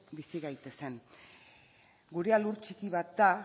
bizi gaitezen gurea lur txiki bat da